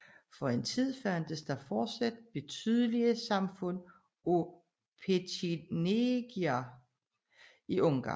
For en tid fandtes der fortsat betydelige samfund af petjenegier i Ungarn